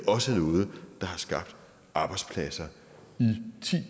også noget der har skabt arbejdspladser